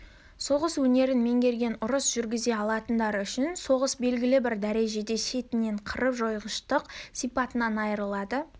соғыс өнерін меңгерген ұрыс жүргізе алатындар үшін соғыс белгілі бір дәрежеде шетінен қырып-жойғыштық сипатынан айырылады